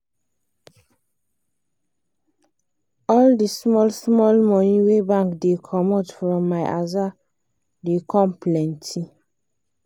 all d small small money wey bank da comot from my aza da come plenty